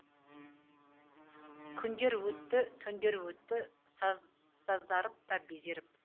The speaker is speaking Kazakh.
күндер өтті түндер өтті сазарып та безеріп